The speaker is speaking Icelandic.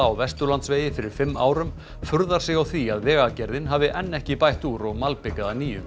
á Vesturlandsvegi fyrir fimm árum furðar sig á því að Vegagerðin hafi enn ekki bætt úr og malbikað að nýju